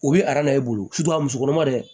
U bɛ e bolo su a musokɔrɔba dɛ